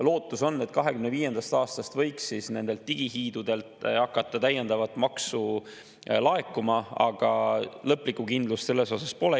Lootus on, et 2025. aastast võiks nendelt digihiidudelt hakata täiendavat maksu laekuma, aga lõplikku kindlust pole.